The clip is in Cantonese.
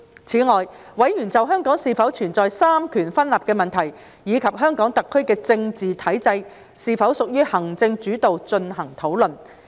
此外，委員就香港是否存在三權分立的問題，以及香港特區的政治體制是否屬於行政主導進行討論。